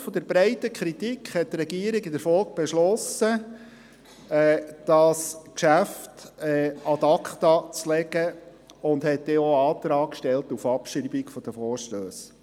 Aufgrund der breiten Kritik beschloss die Regierung in der Folge, das Geschäft ad acta zu legen und stellte denn auch den Antrag auf Abschreibung der Vorstösse.